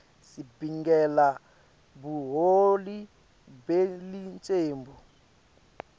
sibingelela buholi belicembu